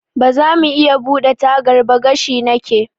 Bazamu iya buɗe tagar ba? gashi nake.